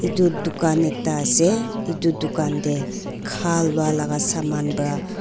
etu dukan ekta ase etu dukan teh kha lua laga saman para--